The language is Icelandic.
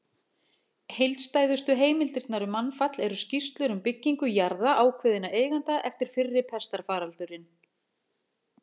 Heildstæðustu heimildirnar um mannfall eru skýrslur um byggingu jarða ákveðinna eigenda eftir fyrri pestarfaraldurinn.